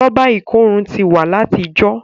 Rọ́bà ikòrun ti wa lati ìjọ.